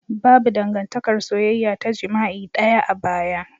Babu dangantakar soyayya ta jima'i daya a baya.